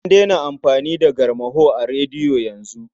An daina amfani da garmaho a rediyo yanzu.